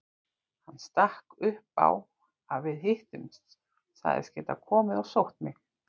Hann stakk upp á að við hittumst, sagðist geta komið og sótt mig.